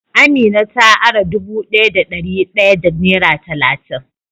Amina ta ara dubu daya da dari daya da nera talatin.